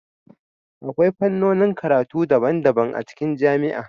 Akwai fannonin karatu daban-daban a cikin jami'a